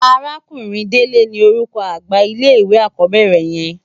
Àrákúnrin Dele ni ólúkò ágbà llé iwé ákòbèrè yèn